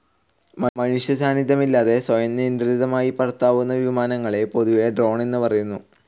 മനുഷ്യസാന്നിധ്യമില്ലാതെ സ്വയം നിയന്ത്രിതമായി പറത്താവുന്ന വിമാനങ്ങളെ പൊതുവേ ഡ്രോൺ എന്നുപറയുന്നു.